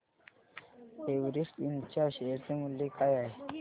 Everest Ind च्या share चे मूल्य काय आहे